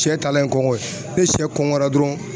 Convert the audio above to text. Sɛ talen kɔngɔ ye ni sɛ kɔngɔra dɔrɔn